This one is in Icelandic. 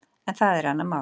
En það er annað mál.